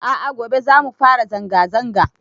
A'a gobe zamu fara zanga zanga